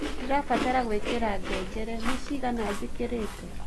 nĩndĩrabatara gũĩkïra ngengere ni cĩgana njĩkĩre